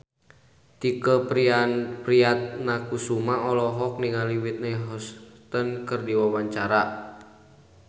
Tike Priatnakusuma olohok ningali Whitney Houston keur diwawancara